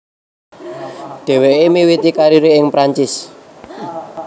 Dheweke miwiti karire ing Perancis